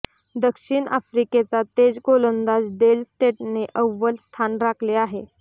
दक्षिण आफ्रिकेचा तेज गोलंदाज डेल स्टेनने अव्वल स्थान राखले आहे